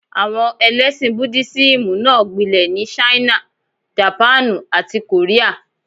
Àwọn ẹlẹ́ṣìn Búdísíìmù náà gbilẹ̀ ní Ṣáínà, Jàpáànù, àti Kòríà.